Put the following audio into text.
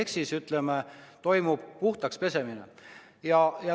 Ehk siis, ütleme, toimub puhtaks pesemine.